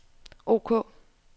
ok